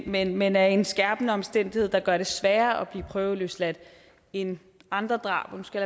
men men er en skærpende omstændighed der gør det sværere at blive prøveløsladt end andre drab nu skal